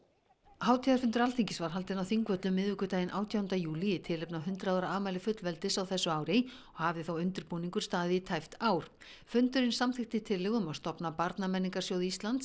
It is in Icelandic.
hátíðarfundur Alþingis var haldinn á Þingvöllum miðvikudaginn átjánda júlí í tilefni af hundrað ára afmæli fullveldis á þessu ári og hafði þá undirbúningur staðið í tæpt ár fundurinn samþykkti tillögu um að stofna barnamenningarsjóð Íslands